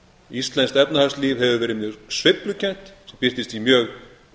íslenskt efnahagslíf hefur verið mjög sveiflukennt birtist í mjög